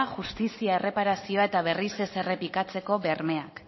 justizia erreparazioa eta berriz ez errepikatzeko bermeak